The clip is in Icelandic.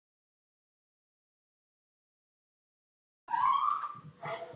Og þá gerðist undrið.